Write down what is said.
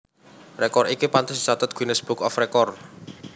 Rekor iki pantes dicathet Guinness Book of Record